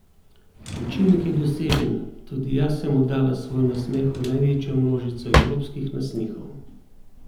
Učinek je dosežen, tudi jaz sem oddala svoj nasmeh v največjo množico evropskih nasmehov!